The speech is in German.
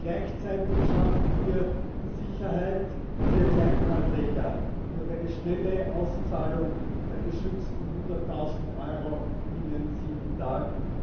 Gleichzeitig schaffen wir mehr Sicherheit für Kleinanleger durch eine schnelle Auszahlung der geschützten 100000 Euro binnen sieben Tagen.